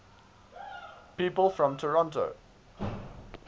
people from toronto